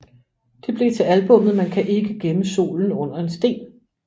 Det blev til albummet Man kan ikke gemme solen under en sten